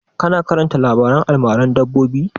Ka na karanta labaren almaran dabbobi?